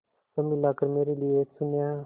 सब मिलाकर मेरे लिए एक शून्य है